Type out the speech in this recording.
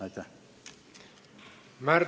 Aitäh!